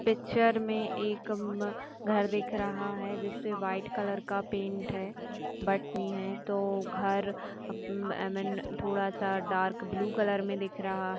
Picture में एक घर दिख रहा है जिस पर व्हाइट कलर का पेंट है तो घर थोड़ा सा डार्क ब्लू कलर में दिख रहा है।